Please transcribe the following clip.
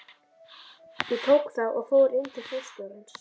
Ég tók það og fór inn til forstjórans.